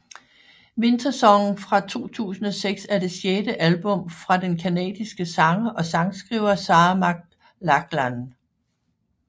Wintersong fra 2006 er det sjette album fra den canadiske sanger og sangskriver Sarah McLachlan